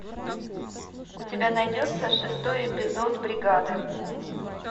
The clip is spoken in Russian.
у тебя найдется шестой эпизод бригада